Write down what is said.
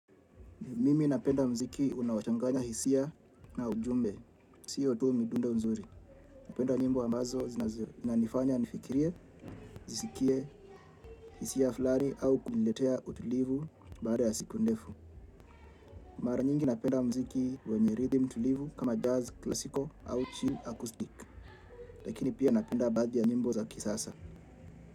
Mimi napenda mziki unaochanganya hisia na ujumbe, siyo tu midundo nzuri. Napenda nyimbo ambazo zinanifanya nifikirie, zisikie hisia fulani au kuniletea utulivu baada ya siku ndefu. Mara nyingi napenda mziki wenye rhythm tulivu kama jazz classical au chill acoustic. Lakini pia napenda baadhi ya nyimbo za kisasa.